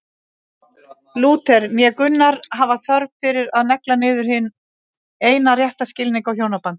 Lúther né Gunnar hafa þörf fyrir að negla niður hinn eina rétta skilning á hjónabandinu.